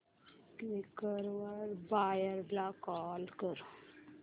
Quikr वर buyer ला call कर